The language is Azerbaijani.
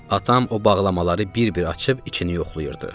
Atam o bağlamaları bir-bir açıb içini yoxlayırdı.